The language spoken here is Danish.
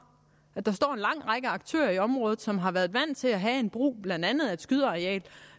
og at der står en lang række aktører i området som har været vant til at have en brug af blandt andet et skydeareal